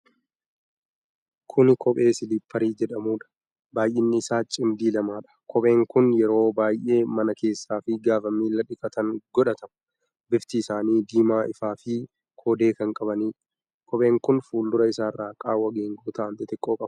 Kuni kophee siliipparii jedhamuudha. baay'inni isaa cimdii lamadha. kopheen kun yeroo baay'ee mana keessa fi gaafa miila dhiqatan godhatama. Bifti isaanii diimaa ifaa fi koodee kan qabaniidha. kopheen kun fuuldura isaarra qaawwa geengoo ta'an xixiqqoo qabu.